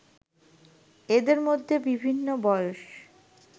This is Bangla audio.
এদের মধ্যে বিভিন্ন বয়স